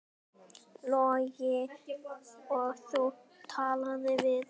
Logi: Og þú talaðir við?